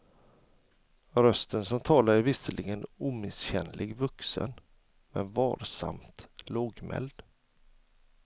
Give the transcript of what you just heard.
Rösten som talar är visserligen omisskännligt vuxen, men varsamt lågmäld.